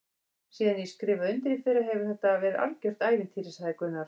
Síðan ég skrifaði undir í fyrra hefur þetta verið algjört ævintýri sagði Gunnar.